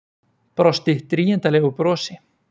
Brosti drýgindalegu brosi.